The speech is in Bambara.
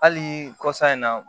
Hali kɔsa in na